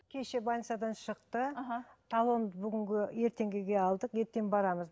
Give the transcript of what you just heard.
кеше больницадан шықты мхм талонды бүгінгі ертеңгіге алдық ертең барамыз